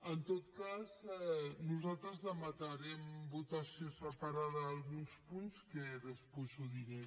en tot cas nosaltres demanarem votació separada d’alguns punts que després diré